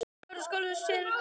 Augað sæinn ber.